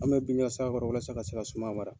An be la se a kɔrɔ walasa ka se ka suma mara.